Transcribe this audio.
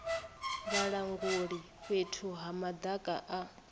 vhalanguli fhethu ha madaka a